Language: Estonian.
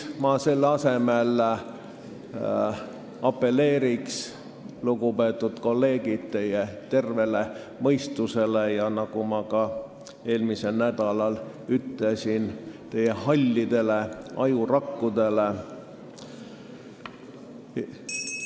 Ma selle asemel apelleeriksin, lugupeetud kolleegid, teie tervele mõistusele ja, nagu ma eelmisel nädalal ütlesin, teie hallidele ajurakkudele.